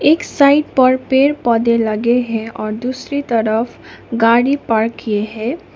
एक साइड पर पेड़ पौधे लगे है और दूसरी तरफ गाड़ी पार्क किए है।